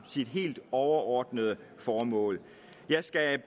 sit helt overordnede formål jeg skal